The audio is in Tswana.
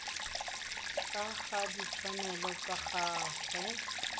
ka ga ditshwanelo tsa gagwe